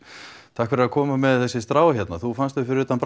takk fyrir að koma með þessi strá hérna þú fannst þau fyrir utan